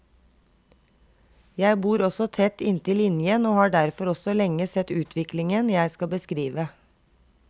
Jeg bor også tett inntil linjen og har derfor også lenge sett utviklingen jeg skal beskrive.